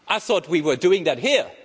I thought we were doing that here.